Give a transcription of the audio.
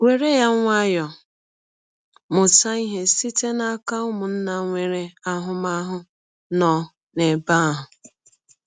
“ Were ya nwayọọ; mụta ihe site n’aka ụmụnna nwere ahụmahụ nọ n’ebe ahụ.